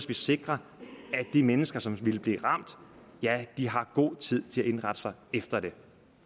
vi sikrer at de mennesker som vil blive ramt har god tid til at indrette sig efter det